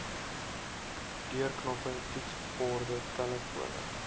deurknoppe toetsborde telefone